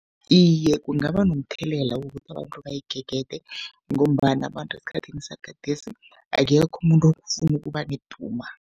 Iye, kungaba nomthelela wokuthi abantu bayigegede ngombana abantu esikhathini sagadesi akekho umuntu ofuna ukuba neduma.